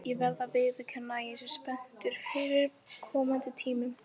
Ég verð að viðurkenna að ég er spenntur fyrir komandi tímum.